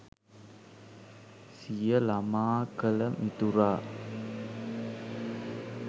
සිය ළමා කල මිතුරා